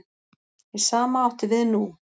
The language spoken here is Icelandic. Hið sama átti við nú.